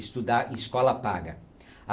estudar em escola paga.